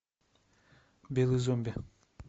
белый зомби